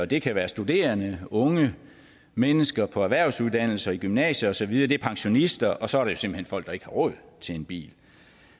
det kan være studerende unge mennesker på erhvervsuddannelser og i gymnasiet og så videre det er pensionister og så er det simpelt hen folk der ikke har råd til en bil